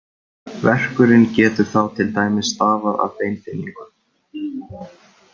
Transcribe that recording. Verkurinn getur þá til dæmis stafað af beinþynningu.